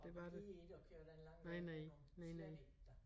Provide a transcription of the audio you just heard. Jeg gider ikke at køre den lange vej rundt om slet ikke da